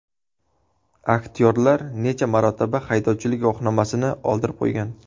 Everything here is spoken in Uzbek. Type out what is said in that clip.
Aktyorlar necha marotaba haydovchilik guvohnomasini oldirib qo‘ygan?.